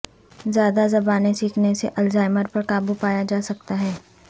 زیادہ زبانیں سیکھنے سے الزائمر پرقابو پایا جاسکتا ہے